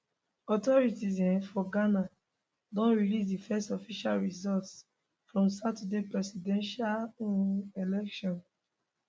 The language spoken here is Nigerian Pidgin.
authorities um for ghana don release di first official results from saturday presidential um election